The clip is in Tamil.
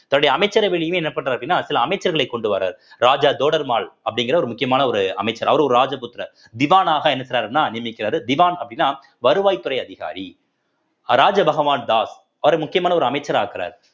தன்னுடைய அமைச்சரவையிலயுமே என்ன பண்றாரு அப்படின்னா சில அமைச்சர்களை கொண்டு வர்றாரு ராஜா ஜோடர்மால் அப்படிங்கிற ஒரு முக்கியமான ஒரு அமைச்சர் அவர் ஒரு ராஜபுத்திர திவானாக என்ன செய்யிறாருன்னா நியமிக்கிறாரு திவான் அப்படின்னா வருவாய்த்துறை அதிகாரி ராஜா பகவான் தாஸ் அவரை முக்கியமான ஒரு அமைச்சர் ஆக்குறாரு